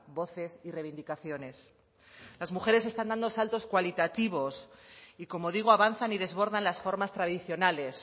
voces y reivindicaciones las mujeres están dando saltos cualitativos y como digo avanzan y desbordan las formas tradicionales